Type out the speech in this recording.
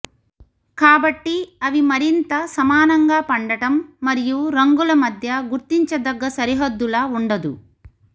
కాబట్టి అవి మరింత సమానంగా పడటం మరియు రంగుల మధ్య గుర్తించదగ్గ సరిహద్దుల వుండదు